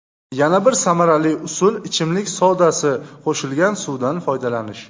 Yana bir samarali usul ichimlik sodasi qo‘shilgan suvdan foydalanish.